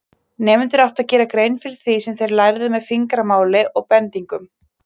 Nemendur áttu að gera grein fyrir því sem þeir lærðu með fingramáli og bendingum.